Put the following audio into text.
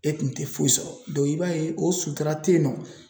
E kun tɛ foyi sɔrɔ dɔn i b'a ye o sutura te yen nɔ